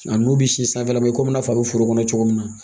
A n'u bɛ si sanfɛla la i komi i n'a fɔ a bɛ foro kɔnɔ cogo min na